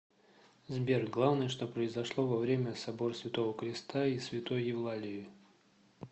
сбер главное что произошло во время собор святого креста и святой евлалии